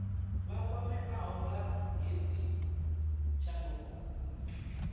vha kwameaho nga hedzi tshanduko